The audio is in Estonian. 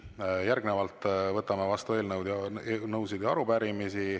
Järgnevalt võtame vastu eelnõusid ja arupärimisi.